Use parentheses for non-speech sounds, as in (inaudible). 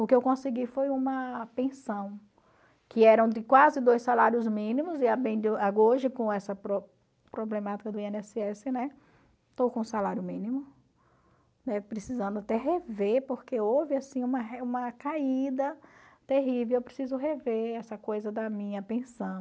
O que eu consegui foi uma pensão, que eram de quase dois salários mínimos, e (unintelligible) hoje com essa pro problemática do i ene ésse ésse, né, estou com salário mínimo, né, precisando até rever, porque houve assim uma (unintelligible) uma caída terrível, eu preciso rever essa coisa da minha